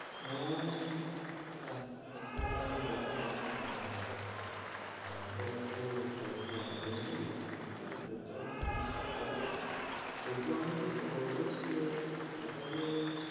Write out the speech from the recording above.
হেঁ, এক~এখুনি তো আমি বললাম দাদা যে আমার, অটো অটো বেশি idea নেই, কিন্তু হা, যত আমি শুনেছি সেটা বলে দিলাম।